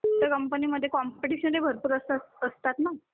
त्यामध्ये कॉम्पिटिशन ही भरपूर असतात ना?